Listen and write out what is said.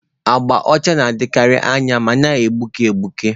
Agba ọcha na-edokarị anya ma na-egbuke egbuke.